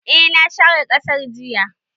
Eh na share ƙasar jiya